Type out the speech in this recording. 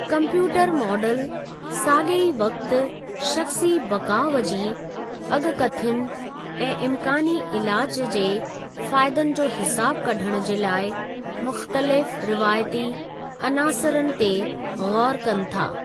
Computer model सागे॒ ई वक़्त शख़्सी बक़ाउ जी अगि॒कथियुनि ऐं इमकानी इलाजु जे फ़ायदनि जो हिसाबु कढणु जे लाइ मुख़्तलिफ़ रिवायती अनासरनि ते ग़ौरु कनि था।